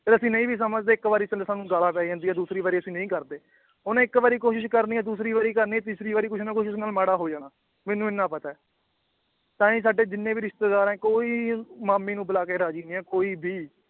ਜੇ ਅਸੀ ਨਈ ਵੀ ਸਮਝਦੇ ਇੱਕ ਵਾਰੀ ਚਲੋ ਸਾਨੂੰ ਗੱਲਾਂ ਪੈ ਜਾਂਦੀਆਂ ਦੂਸਰੀ ਵਾਰੀ ਅਸੀ ਨਈ ਕਰਦੇ ਓਹਨੇ ਇੱਕ ਵਾਰੀ ਕੋਸ਼ਿਸ਼ ਕਰਨੀ ਏ ਦੂਸਰੀ ਵਾਰੀ ਕਰਨੀ ਏ ਤੀਸਰੀ ਵਾਰੀ ਕੁਛ ਨਾ ਕੁਛ ਉਸ ਨਾਲ ਮਾੜਾ ਹੋ ਜਾਣਾ ਮੈਨੂੰ ਇਹਨਾਂ ਪਤਾ ਏ ਤਾਂ ਹੀ ਸਾਡੇ ਜਿੰਨੇ ਵੀ ਰਿਸ਼ਤੇਦਾਰ ਏ ਕੋਈ ਮਾਮੀ ਨੂੰ ਬੁਲਾ ਕੇ ਰਾਜੀ ਨੀ ਏ ਕੋਈ ਵੀ